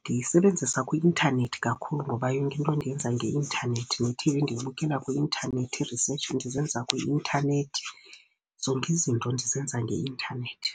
Ndiyisebenzisa kwi-intanethi kakhulu ngoba yonke into ndiyenza ngeintanethi, nethivi ndiyibukela kwi-intanethi, ii-research ndizenza kwi-intanethi. Zonke izinto ndizenza ngeintanethi.